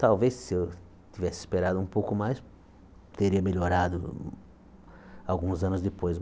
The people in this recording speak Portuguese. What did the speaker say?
Talvez, se eu tivesse esperado um pouco mais, teria melhorado alguns anos depois.